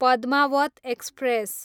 Padmaavat express